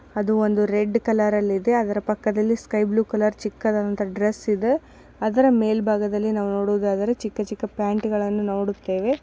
ಅದು ಒಂದು red colour ಅಲ್ಲಿ ಇದೆ ಅದರ ಪಕ್ಕದಲ್ಲಿ ಸ್ಕೈ ಬ್ಲೂ ಕಲರ್ ಚಿಕ್ಕದಾದಂತ ಡ್ರೆಸ್ಸ್ ಇದೆ ಅದರ ಮೇಲ್ಬಾಗದಲ್ಲಿ ನಾವು ನೋಡೋದಾದರೆ ಚಿಕ್ಕ ಚಿಕ್ಕ ಪ್ಯಾಂಟ್ ಗಳನ್ನು ನೋಡುತ್ತೇವೆ.